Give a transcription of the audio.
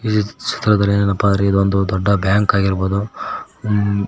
ಈ ಚಿತ್ರದಲ್ಲಿ ಏನಪಾಂದ್ರೆ ಇದೊಂದು ದೊಡ್ಡ ಬ್ಯಾಂಕ್ ಆಗಿರ್ಬೋದು ಮ್--